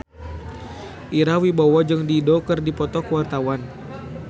Ira Wibowo jeung Dido keur dipoto ku wartawan